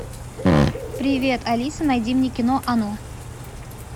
привет алиса найди мне кино оно